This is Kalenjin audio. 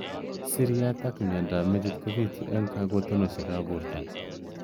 Siriat ak mnyendo ab metit kobitu eng kakotenoshek ab borto.